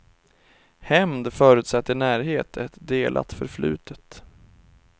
Hämnd förutsätter närhet, ett delat förflutet.